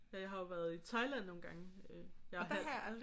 Ja jeg har jo været i Thailand nogle gange. Jeg er halv